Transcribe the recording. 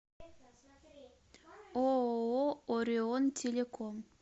ооо орион телеком